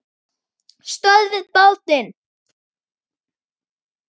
STÖÐVIÐ BÁTINN!